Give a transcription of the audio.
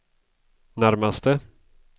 närmaste